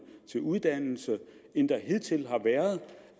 til uddannelse end der hidtil har været